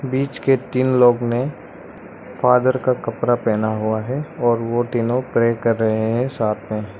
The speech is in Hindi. बीच के तीन लोग ने फादर का कपड़ा पेहना हुआ है और वो तीनों प्रे कर रहे हैं साथ में।